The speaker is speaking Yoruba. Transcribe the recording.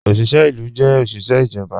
Ọ̀ṣiṣẹ ilu jẹ́ ọ̀ṣiṣẹ ijọba